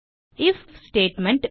if statement